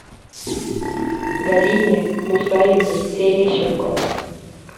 галине мусаевне терещенко